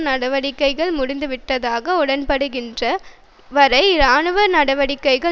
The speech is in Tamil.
நடவடிக்கைகள் முடிந்துவிட்டதாக உடன்படுகின்ற வரை இராணுவ நடவடிக்கைகள்